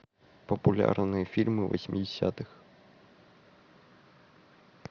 популярные фильмы восьмидесятых